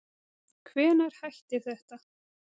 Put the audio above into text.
Hvenær hættir þetta